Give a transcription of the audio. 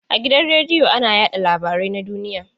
A gidan radiyo ana yaɗa labarai na duniya.